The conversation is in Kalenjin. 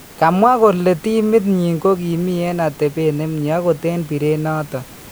kamwaa kole timit nyin kokimii en atebeet nemyee akot en bireet noton